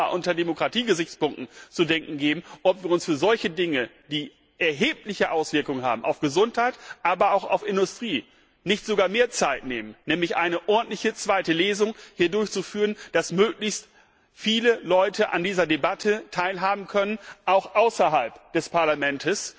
Es soll uns auch einmal unter Demokratiegesichtspunkten zu denken geben, ob wir uns für solche Dinge, die erhebliche Auswirkungen haben auf die Gesundheit, aber auch auf Industrie, nicht sogar mehr Zeit nehmen und hier eine ordentliche zweite Lesung durchführen sollten, damit möglichst viele Leute an dieser Debatte teilhaben können, auch außerhalb des Parlaments,